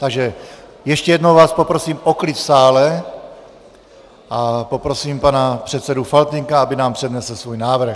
Takže ještě jednou vás poprosím o klid v sále a poprosím pana předsedu Faltýnka, aby nám přednesl svůj návrh.